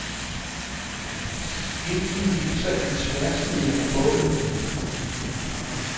Skitsen viser et tværsnit af båden.